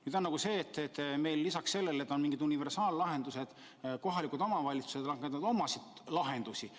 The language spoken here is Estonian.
Nüüd aga on nii, et meil lisaks sellele, et on mingid universaallahendused, kohalikud omavalitsused pakuvad omasid lahendusi.